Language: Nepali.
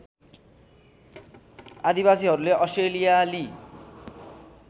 आदिवासीहरूले अस्ट्रेलियाली